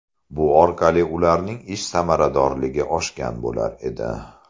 Bu orqali ularning ish samaradorligi oshgan bo‘lar edi.